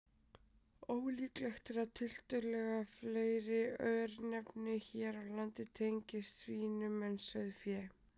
Ólíklegt er að tiltölulega fleiri örnefni hér á landi tengist svínum en sauðfé.